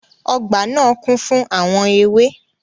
Ọgbà naa kún fún àwọn ewé.